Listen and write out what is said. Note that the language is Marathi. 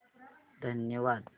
धन्यवाद